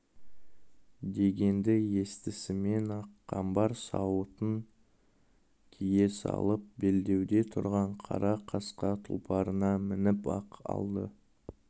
дегенді естісімен-ақ қамбар сауытын кие салып белдеуде тұрған қара қасқа тұлпарына мініп-ақ алды